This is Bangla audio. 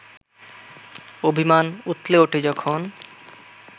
অভিমান উথলে ওঠে যখন